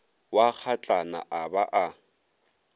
wa kgatlana a ba a